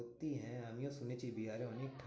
সত্যি হ্যাঁ আমিও শুনেছি বিহারে অনেক ঠান্ডা।